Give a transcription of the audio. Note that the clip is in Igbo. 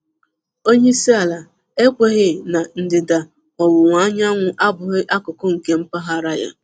Onye isi ala ekwughị na ndịda ọwụwa anyanwụ abụghị akụkụ nke mpaghara ya?